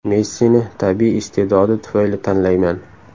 Messini tabiiy iste’dodi tufayli tanlayman.